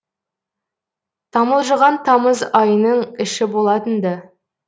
тамылжыған тамыз айының іші болатын ды